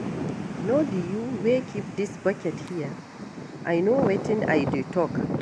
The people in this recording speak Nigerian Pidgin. No be you wey keep dis bucket here? I no wetin I dey talk